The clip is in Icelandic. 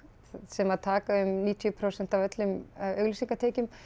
sem taka um níutíu prósent af öllum auglýsingatekjum